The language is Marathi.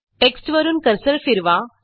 टेक्स्टवरून कर्सर फिरवा